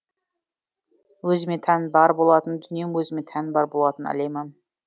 өзіме тән бар болатын дүнием өзіме тән бар болатын әлемім